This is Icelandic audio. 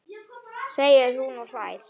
segir hún og hlær.